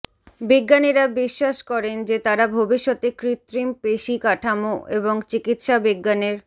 বিজ্ঞানীরা বিশ্বাস করেন যে তারা ভবিষ্যতে কৃত্রিম পেশী কাঠামো এবং চিকিত্সা বিজ্ঞানের